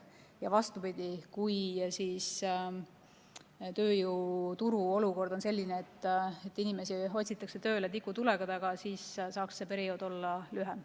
Ja vastupidi, kui tööjõuturu olukord on selline, et inimesi otsitakse tööle tikutulega, siis saaks see periood olla lühem.